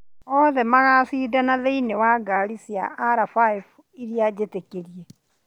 Othe magacindana thiĩnĩ wa ngari cia R5 iria njĩtĩkĩrie.